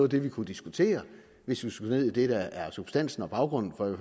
det vi kunne diskutere hvis vi skulle ned i det der er substansen og baggrunden for i